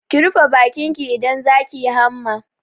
Ki rufe bakin ki idan za ki yi hamma!